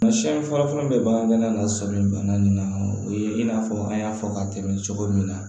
Siyɛn fɔlɔfɔlɔ bɛ bagangɛnna na sɔmi bana nin na o ye in n'a fɔ an y'a fɔ ka tɛmɛ cogo min na